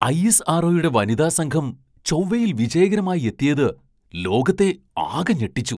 I. S. R. ഒ.യുടെ വനിതാ സംഘം ചൊവ്വയിൽ വിജയകരമായി എത്തിയത് ലോകത്തെ ആകെ ഞെട്ടിച്ചു.